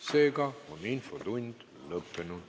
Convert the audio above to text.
Seega on infotund lõppenud.